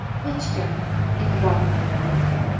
Hech kim e’tibor qaratmaydi.